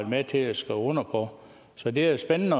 med til at skrive under på så det er jo spændende